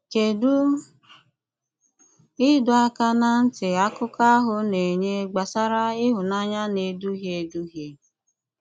Kédụ́ ìdọ̀ àkà na ntị àkụkọ̀ ahụ̀ na-ènyè gbasàrà ìhụ̀nànyà na-èdùhíè èdùhíè?